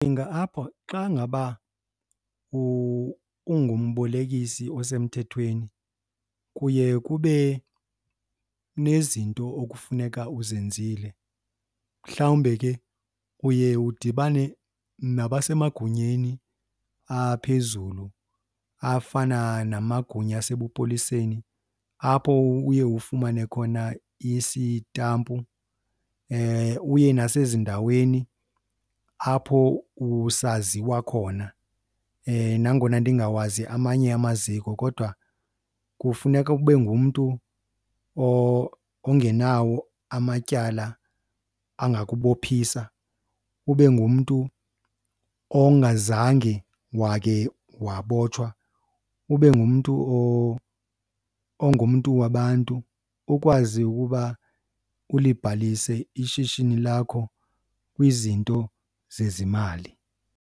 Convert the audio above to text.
apha xa ngaba ungumbolekisi osemthethweni kuye kube nezinto okufuneka uzenzile. Mhlawumbe ke uye udibane nabasemagunyeni aphezulu afana namagunya asebupoliseni, apho uye ufumane khona isitampu, uye nasezindaweni apho usaziwa khona. Nangona ndingawazi amanye amaziko kodwa kufuneka ube ngumntu ongenawo amatyala angakubophisa. Ube ngumntu ongazange wakhe wabotshwa, ube ngumntu ongumntu wabantu, ukwazi ukuba ulibalise ishishini lakho kwizinto zezimali.